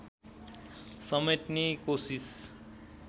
समेट्ने कोसिस